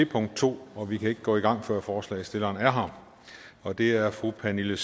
punkt to og vi kan ikke gå i gang før forslagsstilleren er her og det er fru pernille